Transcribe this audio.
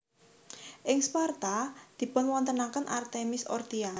Ing Sparta dipunwontenaken Artemis Orthia